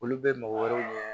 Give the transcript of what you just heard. Olu bɛ mɔgɔ wɛrɛw ɲɛ